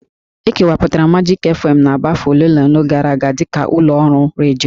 E kewapụtara Majik fm n'Aba afọ ole na ole gara aga dịka ụlọ ọrụ redio